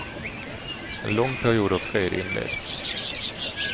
En lång period av fred inleds.